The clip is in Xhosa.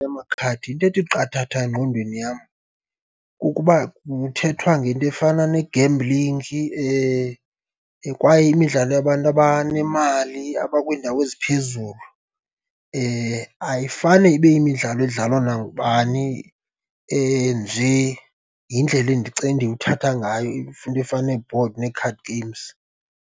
Yamakhadi, into ethi qathatha engqondweni yam kukuba kuthethwa ngento efana negemblingi kwaye imidlalo yabantu abanemali abakwiindawo eziphezulu. Ayifane ibe yimidlalo edlalwa nangubani nje, yindlela endiwuthatha ngayo into efana nee-board nee-card games.